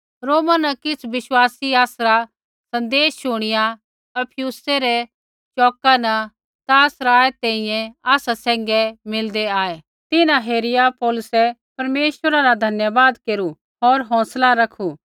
रोमा न किछ़ विश्वासी आसरा सँदेश शुणिया अप्पियुसै रै चौका न त्रा सराए तैंईंयैं आसा सैंघै मिलदै आऐ तिन्हां हेरिया पौलुसै परमेश्वरा रा धन्यवाद केरू होर हौंसला रखू